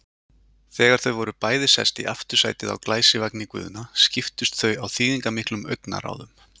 Þegar þau voru bæði sest í aftursætið á glæsivagni Guðna skiptust þau á þýðingarmiklum augnaráðum.